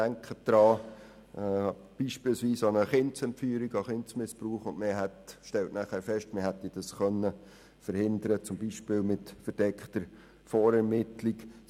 Denken Sie beispielsweise an Kindsmissbrauch oder an eine Kindesentführung, die man beispielsweise mit verdeckter Vorermittlung verhindern könnte.